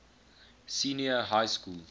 senior high school